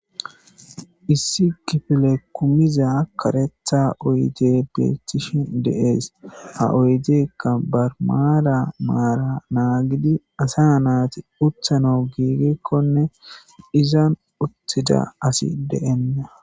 issi kifile kumiza karetha oyde beettishin deees ha oydekka barmala maara naagidi asa naati uthano giigikkonne izan uttida asi de'enna